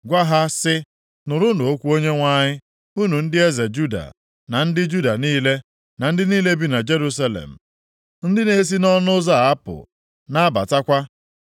Gwa ha sị, ‘Nụrụnụ okwu Onyenwe anyị, unu ndị eze Juda na ndị Juda niile, na ndị niile bi na Jerusalem, ndị na-esi nʼọnụ ụzọ a apụ, na-abatakwa.’